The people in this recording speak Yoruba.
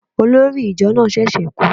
Olórí ìjọ náà ṣẹ̀ṣẹ̀ kú